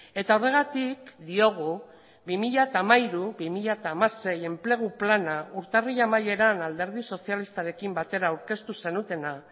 eta horregatik diogu bi mila hamairu bi mila hamasei enplegu plana urtarrila amaieran alderdi sozialistarekin batera aurkeztu zenutena